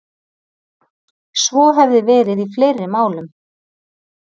Svo hefði verið í fleiri málum